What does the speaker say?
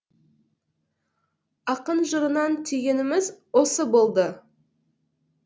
ақын жырынан түйгеніміз осы болды